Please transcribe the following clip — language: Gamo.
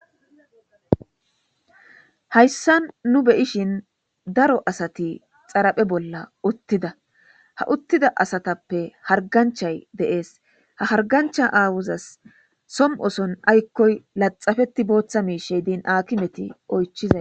hayssa nu be'ishin daro asati xaraphe bolla uttida ha uttida asatappe harganchay de'ees ha hargancha aawuzas som'oson aykkoy laxafeti booththa miishey diin akimeti oychizaa